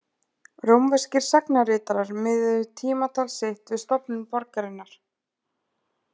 Rómverskir sagnaritarar miðuðu tímatal sitt við stofnun borgarinnar.